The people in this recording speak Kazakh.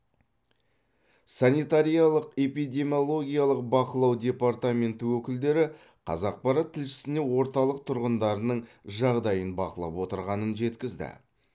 санитариялық эпидемиологиялық бақылау департаменті өкілдері қазақпарат тілшісіне орталық тұрғындарының жағдайын бақылап отырғанын жеткізді